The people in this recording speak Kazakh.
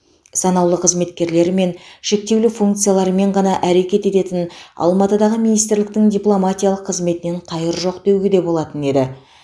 санаулы қызметкерлерімен шектеулі функциялармен ғана әрекет ететін алматыдағы министрліктің дипломатиялық қызметінен қайыр жоқ деуге болатын еді